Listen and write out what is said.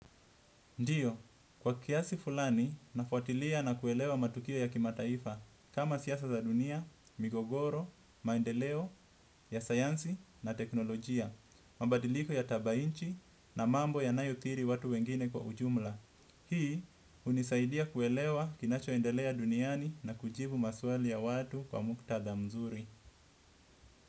Ndiyo, kwa kiasi fulani, nafuatilia na kuelewa matukio ya kimataifa, kama siasa za dunia, migogoro, maendeleo, ya sayansi na teknolojia, mabadiliko ya tabainchi na mambo ya nayothiri watu wengine kwa ujumla. Hii, unisaidia kuelewa kinachoendelea duniani na kujibu maswali ya watu kwa muktadha mzuri.